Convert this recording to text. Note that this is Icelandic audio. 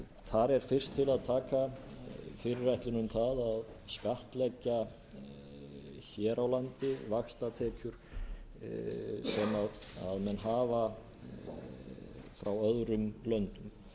þar er fyrst til að taka fyrirætlun um það að skattleggja hér á landi vaxtatekjur sem menn hafa frá öðrum löndum